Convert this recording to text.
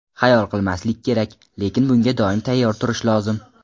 Xayol qilmaslik kerak, lekin bunga doim tayyor turish lozim.